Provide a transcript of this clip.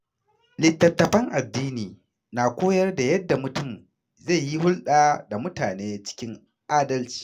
Littattafan addini na koyar da yadda mutum zai yi hulɗa da mutane cikin adalci.